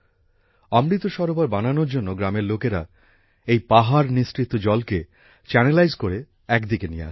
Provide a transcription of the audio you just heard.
অমৃত সরোবর বানানোর জন্য গ্রামের লোকেরা এই পাহাড় নিঃসৃত জলকে চ্যানেলাইজ করে একদিকে নিয়ে আসে